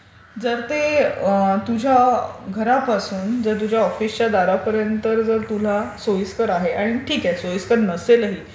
जर ते तुझ्या घरापासून तुझ्या ऑफिसच्या दारापर्यंत जर तुला सोयिस्कर आहे आणि ठीक आहे सोयिस्कर नसेलही